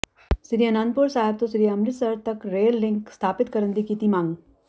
ਸ੍ਰੀ ਅਨੰਦਪੁਰ ਸਾਹਿਬ ਤੋਂ ਸ੍ਰੀ ਅੰਮ੍ਰਿਤਸਰ ਤਕ rail link ਸਥਾਪਿਤ ਕਰਨ ਦੀ ਕੀਤੀ ਮੰਗ